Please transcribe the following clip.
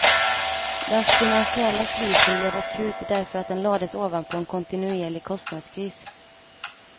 Den finansiella krisen blev akut därför att den lades ovanpå en kontinuerlig kostnadskris.